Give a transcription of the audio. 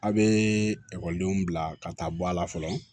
A' bee ekɔlidenw bila ka taa bɔ a la fɔlɔ